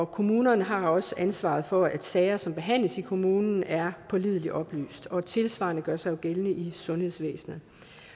kommunerne har også ansvaret for at sager som behandles i kommunen er pålideligt oplyst og tilsvarende gør sig jo gældende i sundhedsvæsenet